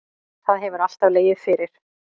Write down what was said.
Það hefur alltaf legið fyrir